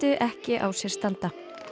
ekki á sér standa